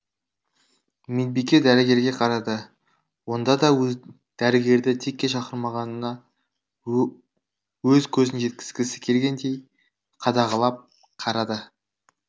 медбике дәрігерге қарады онда да дәрігерді текке шақырмағанын өз көзін жеткізгісі келгендей қадағалап қарады